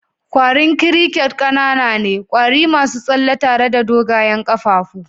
kwarin crickets ƙanana ne, kwari masu tsalle tare da dogayen kafafu.